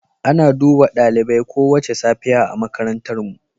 Ana duba dalibai kowace safiya a makarantarmu.